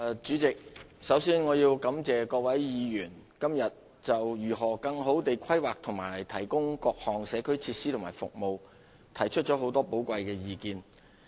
主席，首先我要感謝各位議員今天就如何更好地規劃，以提供各項社區設施及服務提出了很多寶貴的意見。